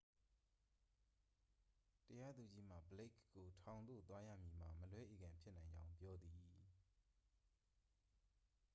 တရားသူကြီးမှ ဘလိက်ခ်ကို ထောင်သို့သွားရမည်မှာ မလွဲဧကန်ဖြစ်နိုင်ကြောင်း ပြောသည်